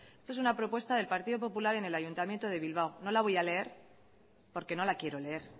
esto es una propuesta del partido popular en el ayuntamiento de bilbao no la voy a leer porque no la quiero leer